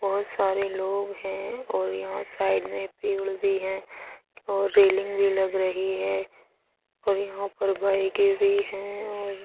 बहोत सारे लोग हैं और यहां साइड मे पीवीड भी हैं और रेलिंग भी लग रही हैं और यहां पर बाइके भी हैं और --